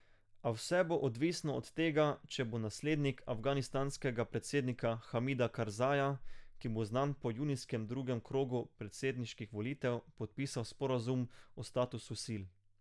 A vse bo odvisno od tega, če bo naslednik afganistanskega predsednika Hamida Karzaja, ki bo znan po junijskem drugem krogu predsedniških volitev, podpisal sporazum o statusu sil.